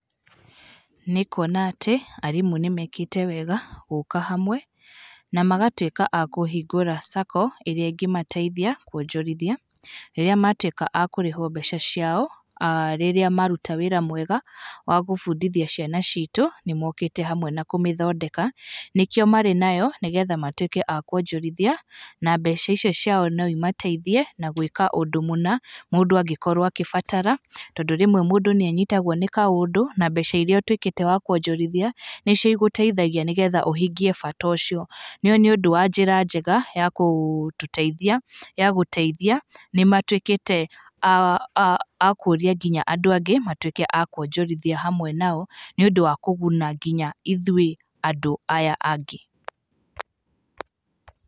Nĩ kuona atĩ, arĩmũ nĩ mekĩte wega gũka hamwe na magatweka a kũhingũra Sacco, ĩrĩa ĩngĩmatethia kũonjorithia rĩria matũika a kũrehwo mbeca ciao, rĩria maruta wĩra mwega wa gũbudhĩthia cĩana citu nĩ mokite hamwe na gũthondeka nĩkio marĩ nayo nĩgetha matuĩke a kuonjorithia na mbeca ĩcio ciao no cĩmateitĩe na gwĩka undũ mũna, mũndu agĩkorwo agĩbatara. Tondũ rĩmwe mũndu nĩ anyitagwo nĩ kaũndũ na mbeca ĩria ũtuĩkekĩte wa kuonjorithia nĩcio ĩguteithagia nĩgetha ũhingie bata ũcio, nĩ ũndũ wa njĩra njega wa gũtũteĩthia nĩ matuĩkite a kuonia nginya andũ angi matuĩke a kuonjorithia hamwe nao nĩ ũndũ wa kũguna ithuĩ andũ aya angi.